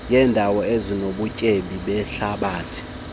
yeendawo ezinobutyebi behlabathi